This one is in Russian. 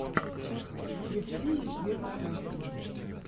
включи мне геру сафина